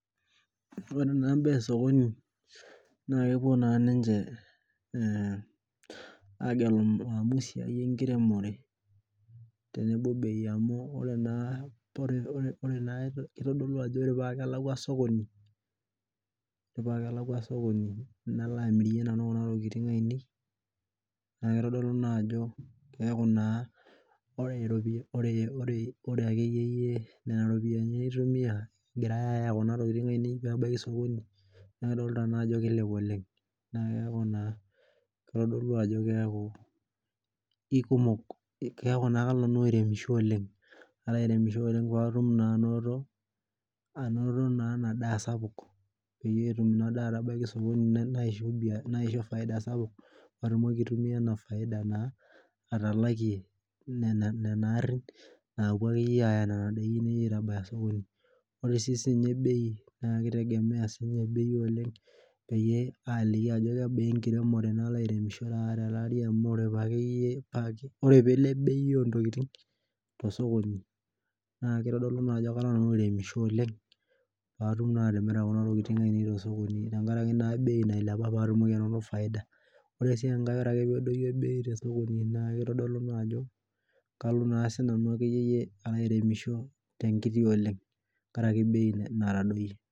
Ore naa mbaa ookoni nakepuo ninche agelu eisai enkiremore tenebo bei amu ore naa kitodolu ajo ore pelakwa sokoni nalo amirie ntokitin ainei neaku ore akeyie nona ropiyani naitumia ayagie ntokitin paitabaya osokoni na kitadolu ajo kalo aremisho oleng patum ainoto naa enadaa sapuk petum inadaa anoto faida sapuk patumoki aisha matanapie nena aarin napuo aya nona dakini aya osokoni ore su bei na kesidai amu kaliki ajo kebaa enkiremore nalo airemisho amu ore peilep bei ontokitin tosokoni na kitadolu ajo kalo aremisho oleng patum atimira kuna tokitin tosokoni tenkaraki bei nailepa ore pedou bei na kitadolu ajo kalo aremisho tenkiti oleng' tenkaraki etadowuo.